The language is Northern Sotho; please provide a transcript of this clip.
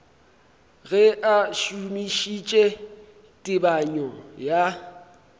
ge a šomišitše tebanyo ya